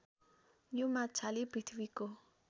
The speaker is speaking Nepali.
यो माछाले पृथ्वीको